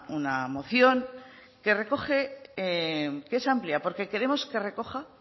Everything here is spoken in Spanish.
una moción que es amplia porque queremos que recoja